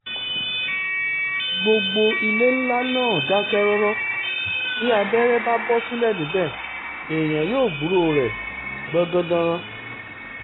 gbogbo ilé ńlá náà dákẹ́ rọ́rọ́ bí abẹ́rẹ́ bá bọ́ sílẹ̀ níbẹ̀ èèyàn yóò gbúròó rẹ̀ gbọ̀ngàndìnrín